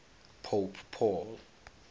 pope paul